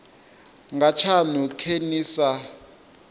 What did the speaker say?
nga tshaṅu khe ni sa